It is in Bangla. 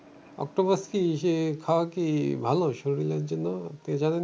অক্টোপাস কি? সে খাওয়া কি ভালো শরীরের জন্য? আপনি জানেন?